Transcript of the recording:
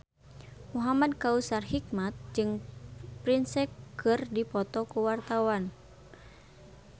Muhamad Kautsar Hikmat jeung Prince keur dipoto ku wartawan